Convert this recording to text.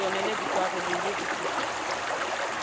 ditonele dikwari le ho ripitlwa